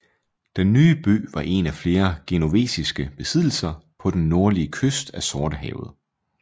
Den nye by var en af flere genovesiske besiddelser på den nordlige kyst af Sortehavet